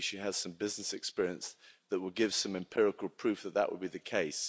And maybe she has some business experience that will give some empirical proof that that would be the case?